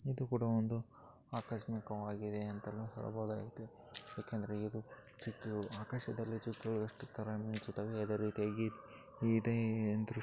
ಇದು ಕೂಡ ಒಂದು ಆಕಸ್ಮಿಕವಾಗಿದೆ ಅಂತನು ಹೇಳಬಹುದಾಗಿದೆ ಯಾಕೆಂದರೆ ಇದು ಚುಕ್ಕಿ ಆಕಾಶದಲ್ಲಿ ಚುಕ್ಕಿ ಎಷ್ಟು ಮಿಂಚುತ್ತಾವೆ ಅದೇ ರೀತಿಯಾಗಿ ಇದೆ ಎಂದು--